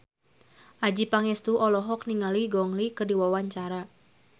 Adjie Pangestu olohok ningali Gong Li keur diwawancara